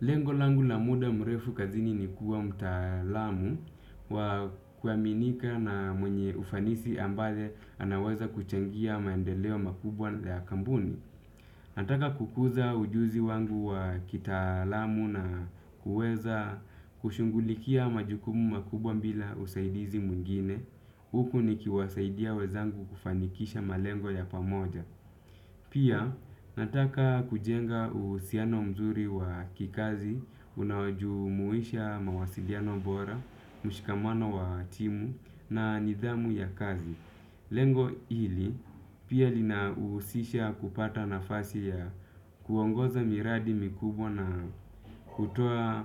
Lengo langu la muda mrefu kazini ni kuwa mtaalamu wa kuaminika na mwenye ufanisi ambaye anaweza kuchangia maendeleo makubwa ya kampuni. Nataka kukuza ujuzi wangu wa kitaalamu na kuweza kushughulikia majukumu makubwa bila usaidizi mwingine. Huku nikiwasaidia wenzangu kufanikisha malengo ya pamoja. Pia nataka kujenga uhusiano mzuri wa kikazi, unaojumuisha mawasiliano bora, mshikamano wa timu na nidhamu ya kazi. Lengo hili, pia linahusisha kupata nafasi ya kuongoza miradi mikubwa na hutoa